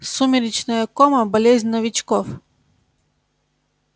сумеречная кома болезнь новичков